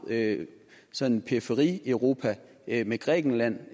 sådan periferieuropa med grækenland